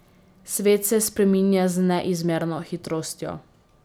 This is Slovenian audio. Svet se spreminja z neizmerno hitrostjo.